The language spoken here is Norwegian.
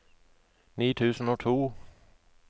ni tusen og to